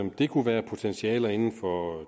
det kunne være potentialer inden for